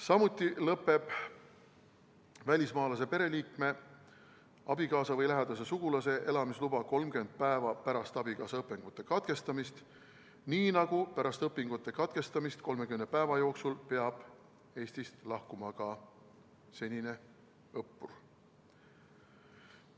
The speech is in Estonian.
Samuti lõpeb välismaalase pereliikme, abikaasa või lähedase sugulase elamisluba 30 päeva pärast abikaasa õpingute katkestamist, nii nagu 30 päeva jooksul pärast õpingute katkestamist peab Eestist lahkuma ka senine õppur.